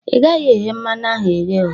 I gaghị eghe mmanụ ahu eghe!